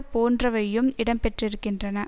போன்றவையும் இடம் பெற்றிருக்கின்றன